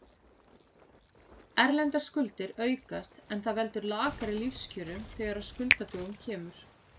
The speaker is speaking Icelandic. Erlendar skuldir aukast en það veldur lakari lífskjörum þegar að skuldadögum kemur.